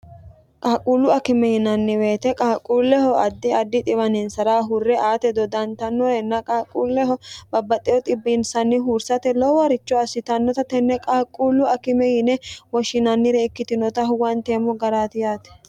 qaaquullu akime yinanni weete qaaqquulleho addi addi xiwaniinsara hurre aate dodantannorenna qaaquulleho babbatewo xibbinsanni huursate loowaricho assitannota tenne qaaqquullu akime yine woshshinannire ikkitinota huwanteemmo garaati yaate